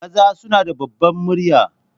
Maza suna da ɓabbar murya.